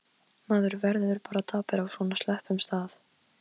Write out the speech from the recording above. Hann þurfti ekki annað en ýta á svo hún opnaðist.